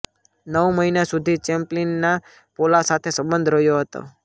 નવ મહિના સુધી ચૅપ્લિનના પોલા સાથે સંબંધો રહ્યો હતા